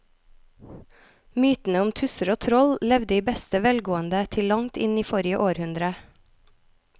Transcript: Mytene om tusser og troll levde i beste velgående til langt inn i forrige århundre.